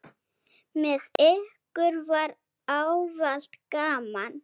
Með ykkur var ávallt gaman.